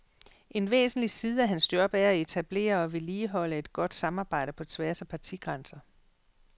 En væsentlig side af hans job er at etablere og vedligeholde et godt samarbejde på tværs af partigrænser.